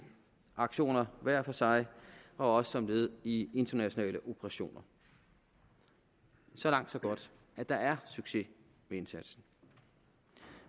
aktioner hver for sig og også som led i internationale operationer så langt så godt der er succes med indsatsen